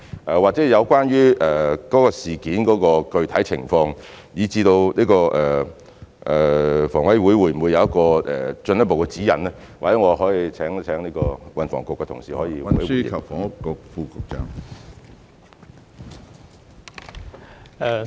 有關該宗事件的具體情況，以至房委會會否提供進一步的指引，或許我請運輸及房屋局的同事作補充。